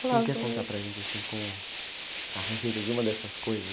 Você não quer contar para gente, assim, como, a receita de uma dessas coisas?